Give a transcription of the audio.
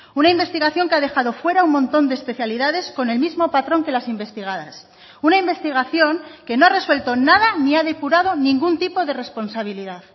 una investigación que ha dejado fuera un montón de especialidades con el mismo patrón que las investigadas una investigación que no ha resuelto nada ni ha depurado ningún tipo de responsabilidad